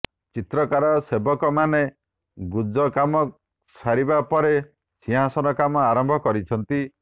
ଚିତ୍ରକର ସେବକମାନେ ଗୁଜ କାମ ସାରିବା ପରେ ସିଂହାସନ କାମ ଆରମ୍ଭ କରିଛନ୍ତି